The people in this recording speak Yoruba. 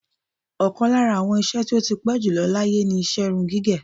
Ọ̀kan lára àwọn nṣe tí ó ti pẹ́ jùlọ láyé ni iṣẹ́ irun gígẹ̀.